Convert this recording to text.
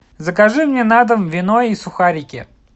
закажи мне на дом вино и сухарики